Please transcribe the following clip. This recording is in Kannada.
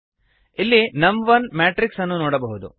ಇಲ್ಲಿ ನಮ್1 ಮ್ಯಾಟ್ರಿಕ್ಸ್ ಅನ್ನು ನೋಡಬಹುದು